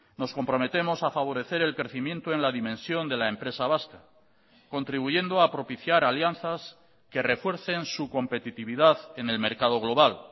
nos comprometemos a favorecer el crecimiento en la dimensión de la empresa vasca contribuyendo a propiciar alianzas que refuercen su competitividad en el mercado global